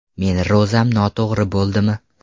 Meni ro‘zam noto‘g‘ri bo‘ldimi?